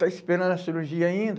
está esperando a cirurgia ainda?